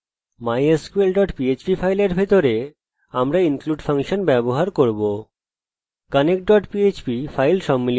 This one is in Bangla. mysql dot php ফাইলের ভিতরে আমরা connect dot php ফাইল সম্মিলিত করার জন্য include ফাংশন ব্যবহার করব